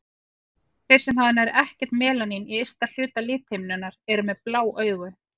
Þeir sem hafa nær ekkert melanín í ysta hluta lithimnunnar eru með blá augu.